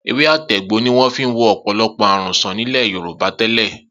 Ewé àtegbò ni wọ́n fi ń wo ọ̀pọ̀lọpọ̀ àrùn sàn nílẹ̀ Yorùbá tẹ́lẹ̀.